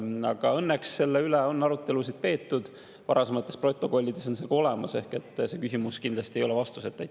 Aga õnneks on selle üle arutelusid peetud, varasemates protokollides on need ka olemas, ehk see küsimus kindlasti ei ole vastuseta.